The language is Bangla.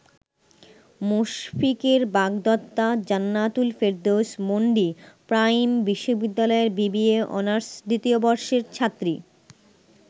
মুশফিকের বাগদত্তা জান্নাতুল ফেরদৌস মন্ডি প্রাইম বিশ্ববিদ্যালয়ের বিবিএ অনার্স দ্বিতীয় বর্ষের ছাত্রী।